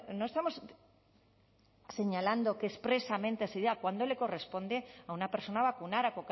no estamos señalando que expresamente sería cuando le corresponde a una persona vacunar a